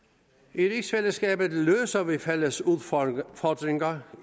i rigsfællesskabet løser vi fælles udfordringer